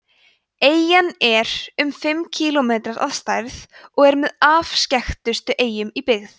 eyjan er um fimm ferkílómetrar að stærð og með afskekktustu eyjum í byggð